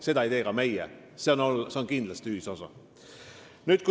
Seda ei tee ka meie, see on kindlasti ühisosa teiega.